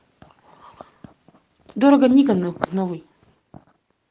дорого никона новый